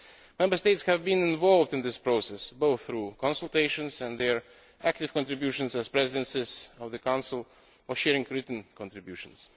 Member States have been involved in this process, both through consultations and their active contributions as presidencies of the Council or sharing written contributions.